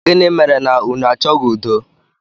Gini mere unu achọghị udo?